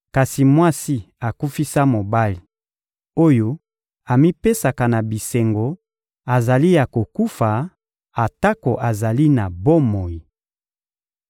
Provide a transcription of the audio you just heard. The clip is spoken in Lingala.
Kasi mwasi akufisa mobali, oyo amipesaka na bisengo azali ya kokufa atako azali na bomoi.